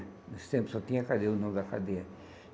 Nesse tempo só tinha cadeia, o nome da cadeia.